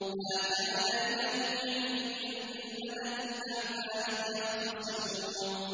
مَا كَانَ لِيَ مِنْ عِلْمٍ بِالْمَلَإِ الْأَعْلَىٰ إِذْ يَخْتَصِمُونَ